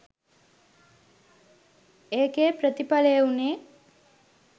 ඒකෙ ප්‍රතිඵලය වුණේ